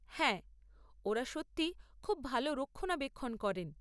হ্যাঁ, ওঁরা সত্যিই খুব ভাল রক্ষণাবেক্ষণ করেন।